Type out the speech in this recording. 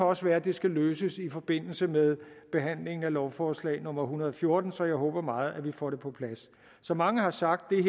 også være at det skal løses i forbindelse med behandlingen af lovforslag nummer hundrede og fjorten så jeg håber meget at vi får det på plads som mange har sagt er